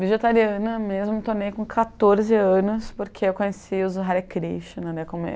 vegetariana mesmo, tornei com quatorze anos porque eu conheci os Hare Krishna.